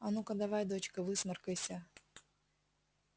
а ну-ка давай дочка высморкайся